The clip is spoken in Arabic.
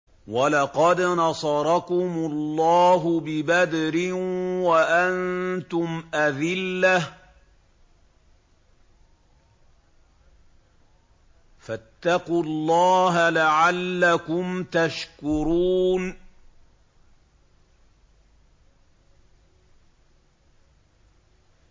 وَلَقَدْ نَصَرَكُمُ اللَّهُ بِبَدْرٍ وَأَنتُمْ أَذِلَّةٌ ۖ فَاتَّقُوا اللَّهَ لَعَلَّكُمْ تَشْكُرُونَ